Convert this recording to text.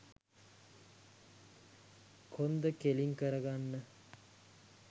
කොන්ද කෙළින් කරගන්න.